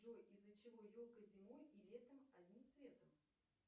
джой из за чего елка зимой и летом одним цветом